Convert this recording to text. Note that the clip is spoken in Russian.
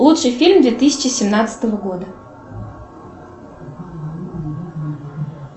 лучший фильм две тысячи семнадцатого года